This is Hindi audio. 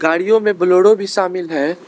गाड़ियों में बोलेरो भी शामिल है।